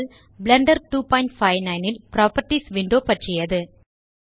Blender 259 ல் properties window பற்றியது